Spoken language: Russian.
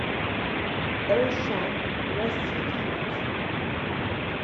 элшан васильевич